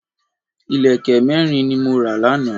Ìlẹ̀kẹ̀ mẹ́rin ni mo ra lánàá